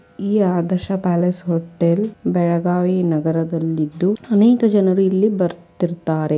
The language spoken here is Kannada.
ಈ ಆದರ್ಶ ಪ್ಯಾಲೇಸ್ ಹೋಟೆಲ್ ಬೆಳಗಾವಿ ನಗರದಲ್ಲಿದ್ದು ಅನೇಕ ಜನರು ಇಲ್ಲಿ ಬರ್ತಿರ್ತ್ತಾರೆ.